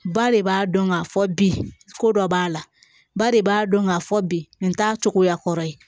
Ba de b'a dɔn k'a fɔ bi ko dɔ b'a la ba de b'a dɔn k'a fɔ bi nin t'a cogoya kɔrɔ ye